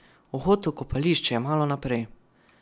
Vhod v kopališče je malo naprej.